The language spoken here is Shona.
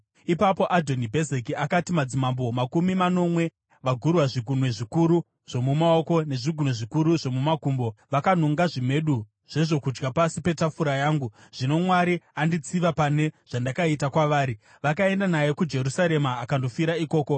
Ipapo Adhoni Bhezeki akati, “Madzimambo makumi manomwe, vagurwa zvigunwe zvikuru zvomumaoko nezvigunwe zvikuru zvokumakumbo, vakanonga zvimedu zvezvokudya pasi petafura yangu. Zvino Mwari anditsiva pane zvandakaita kwavari.” Vakaenda naye kuJerusarema akandofira ikoko.